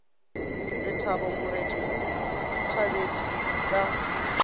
lethabo moreti o thabetše ka